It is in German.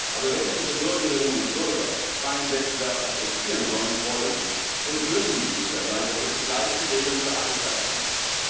Aber wenn unsere Bürgerinnen und Bürger freien Wettbewerb akzeptieren sollen, wollen und müssen sie sich sicher sein, dass er zu gleichen Regeln für alle stattfindet.